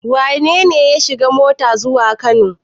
Wane ne ya shiga mota zuwa Kano?